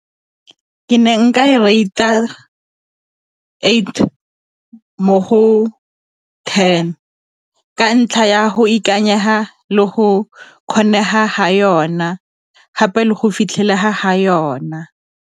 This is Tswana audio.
Ke ne nka e rate-a eight mo go ten ka ntlha ya go ikanyega le go kgonega ga yona gape le go fitlhelega ga yona.